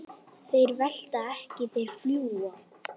Hamra hvaða járn?